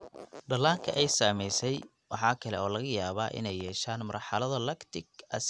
Dhallaanka ay saamaysay waxa kale oo laga yaabaa inay yeeshaan marxalado lactic acidosis ah.